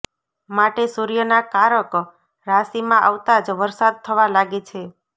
માટે સૂર્યના કારક રાશિમાં આવતા જ વરસાદ થવા લાગે છે